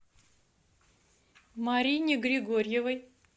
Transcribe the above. марине григорьевой